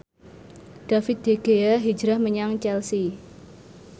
David De Gea hijrah menyang Chelsea